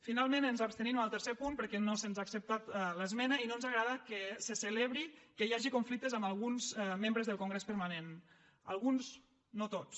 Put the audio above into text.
finalment ens abstenim en el tercer punt perquè no se’ns ha acceptat l’esmena i no ens agrada que se celebri que hi hagi conflictes amb alguns membres del congrés permanent amb alguns no tots